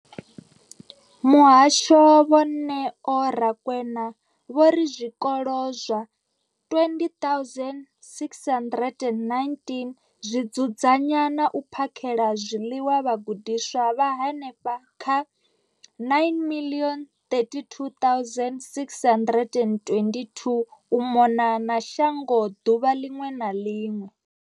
Muhasho, Vho Neo Rakwena, vho ri zwikolo zwa 20 619 zwi dzudzanya na u phakhela zwiḽiwa vhagudiswa vha henefha kha 9 032 622 u mona na shango ḓuvha ḽiṅwe na ḽiṅwe.